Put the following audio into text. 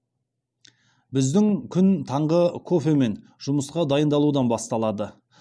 біздің күн таңғы кофе мен жұмысқа дайындалудан басталады